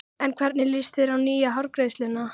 En hvernig líst þér á nýju hárgreiðsluna?